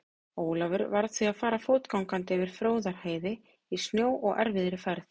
Ólafur varð því að fara fótgangandi yfir Fróðárheiði í snjó og erfiðri færð.